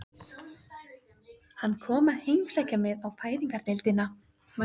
Hann kom að heimsækja mig á Fæðingardeildina.